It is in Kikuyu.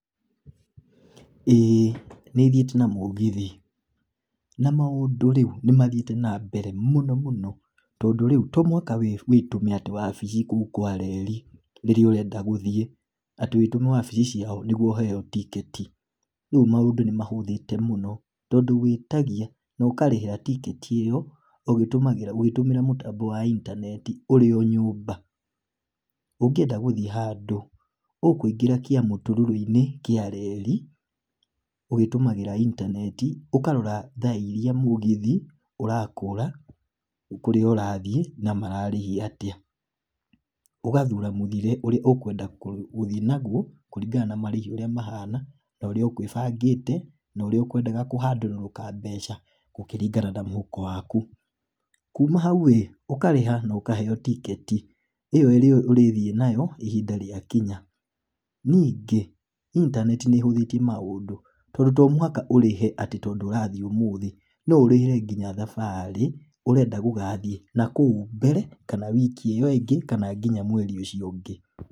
ĩ nĩ thiĩte na mũgithi na mũndũ nĩ mathiĩte na mbere mũno mũno tondũ rĩu to mũhaka wĩtware wabici kũu kwa reri rĩrĩa ũrenda gũthiĩ atĩ wĩtũme wabici ciao nĩguo ũheo tiketi rĩu maũndũ nĩ mahũthĩte mũno. Tondũ wĩtagia na ũkarĩhĩra tiketi ĩyo ũgĩtũmĩra mũtambo wa intaneti ũrĩ o nyũmba. Ũngĩenda gũthiĩ handũ ũkũingĩra kĩamũtũrũrũ-inĩ kĩa reri ũgĩtũmagĩra intaneti ũkarora thaa iria mũgithi ũrakũra kũrĩa ũrathiĩ na mararĩhia atĩa. ũgathura mũthiĩre ũrĩa ũkwenda gũthiĩ naguo kũringana na marĩhi ũrĩa mahana na ũrĩa ũkwĩbangĩte na ũrĩa ũkwendaga kũhandũrũrũka mbeca gũkĩringana na mũhuko waku. kuma hau rĩ ũkarĩha na ũkaheo tiketi ĩyo ĩrĩa ũrĩthiĩ nayo ihinda rĩakinya. Ningĩ intaneti nĩ ĩhũthĩtie maũndũ tondũ to mũhaka ũrĩhe atĩ tondũ ũrathiĩ ũmũthĩ no ũrĩhr nginya thabarĩ ũrenda gũgathiĩ nakũu mbere kana wiki ĩyo ĩngĩ kana nginya mweri ũcio ũngĩ.